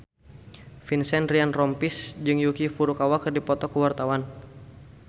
Vincent Ryan Rompies jeung Yuki Furukawa keur dipoto ku wartawan